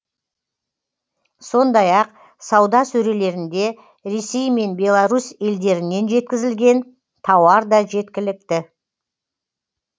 сондай ақ сауда сөрелерінде ресей мен беларусь елдерінен жеткізілген тауар да жеткілікті